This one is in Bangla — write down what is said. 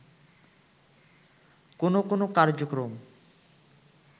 কোনো কোনো কার্যক্রম